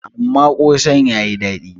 amma kosan ya yi dadi